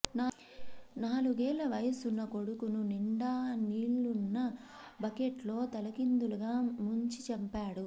నాలుగేళ్ల వయసున్న కొడుకును నిండా నీళ్లున్న బకెట్లో తలకిందులుగా ముంచి చంపాడు